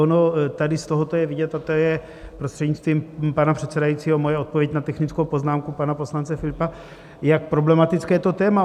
Ono tady z tohoto je vidět, a to je, prostřednictvím pana předsedajícího, moje odpověď na technickou poznámku pana poslance Filipa, jak problematické je to téma.